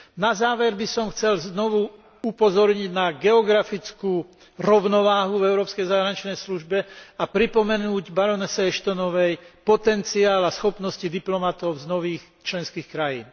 Na záver by som chcel znovu upozorniť na geografickú rovnováhu v európskej zahraničnej službe a pripomenúť barónke Ashtonovej potenciál a schopnosti diplomatov z nových členských krajín.